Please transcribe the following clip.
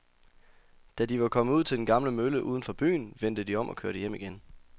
Da de var kommet ud til den gamle mølle uden for byen, vendte de om og kørte hjem igen.